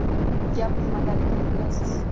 “Gap nimadaligini bilasiz.